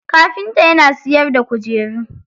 Kafinta yana siyarda kujeru.